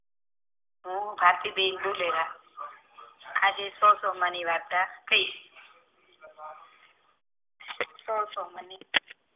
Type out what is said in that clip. હું ભારતીબેન બોરહ આજે સો સોમાવાર ની ની વાર્તા થઈ સો સોમાવાર ની